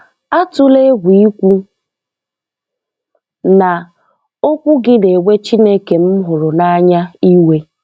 Atụla egwu I kwu na, okwu gị na-ewe Chineke m hụrụ n'anya iwe.